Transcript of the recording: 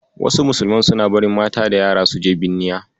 Wasu musulman suna barin mata da yara su je binniya.